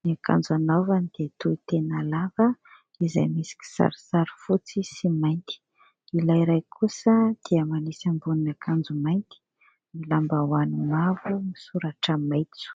Ny akanjo anaovany dia tohy tena lava izay misy kisarisary fotsy sy mainty. Ilay iray kosa dia manisy ambonin'akanjo mainty, ny lambahoany mavo misoratra maitso.